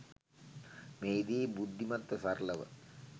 මෙහිදී බුද්ධිමත්ව සරලව